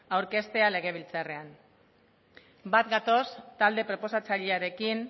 aurkeztea legebiltzarrean bat gatoz talde proposatzailearekin